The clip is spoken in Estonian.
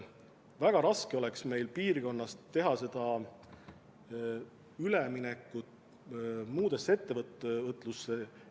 Meil on oma piirkonnas väga raske minna üle muule ettevõtlusele.